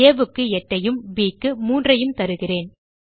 ஆ க்கு 8 ஐயும் ப் க்கு 3ஐயும் தருகிறேன்